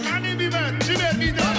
қане бейбіт жібер биді